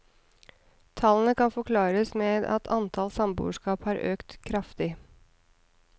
Tallene kan forklares med at antall samboerskap har økt kraftig.